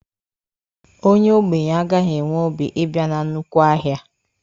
Onye ogbenye agaghị enwe obi ibia na nnukwu ahịa.